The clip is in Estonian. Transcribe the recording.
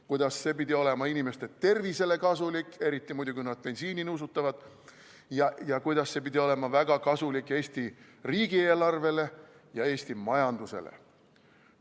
Kuidas see pidi olema inimeste tervisele kasulik, eriti muidugi, kui nad bensiini nuusutavad, ja kuidas see pidi olema väga kasulik Eesti riigieelarvele ja Eesti majandusele.